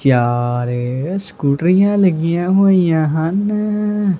ਕਿਆ ਰੇ ਸਕੂਟਰੀਆਂ ਲੱਗੀਆਂ ਹੋਈਆਂ ਹਨ।